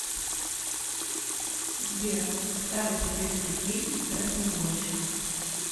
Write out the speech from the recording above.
сбер старый советский фильм про самогонщиков